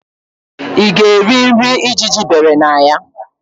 Ị ga-eri nri ijiji bere na ya?